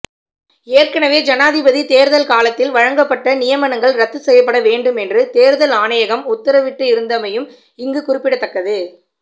ஏற்கனவே ஜனாதிபதி தேர்தல் காலத்தில் வழங்கப்பட்ட நியமனங்கள் ரத்துச்செய்யப்படவேண்டும் என்று தேர்தல்கள் ஆணையகம் உத்தரவிட்டிருந்தமையும் இங்கு குறிப்பிடத்தக்கது